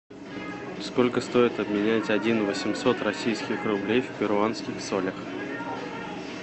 сколько стоит обменять один восемьсот российских рублей в перуанских солях